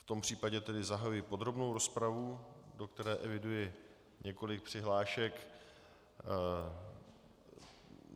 V tom případě tedy zahajuji podrobnou rozpravu, do které eviduji několik přihlášek.